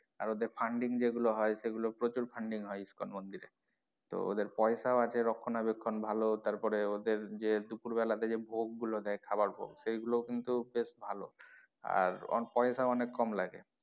আর ওদের funding যেগুলো হয় প্রচুর funding হয় ইস্কন মন্দিরে তো ওদের পয়সা ও আছে রক্ষনাবেক্ষন ভালো তারপরে ওদের যে দুপুর বেলা তে যে ভোগ গুলো দেয় খাওয়ার ভোগ সেইগুলো ও কিন্তু বেশ ভালো আর পয়সা অনেক কম লাগে।